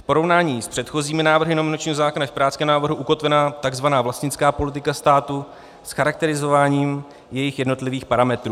V porovnání s předchozími návrhy nominačního zákona je v pirátském návrhu ukotvena tzv. vlastnická politika státu s charakterizováním jejích jednotlivých parametrů.